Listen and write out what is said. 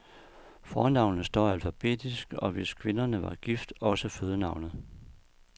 Fornavnene står alfabetisk og hvis kvinderne var gift, også fødenavnet.